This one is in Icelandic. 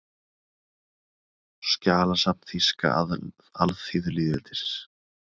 Skjalasafn Þýska alþýðulýðveldisins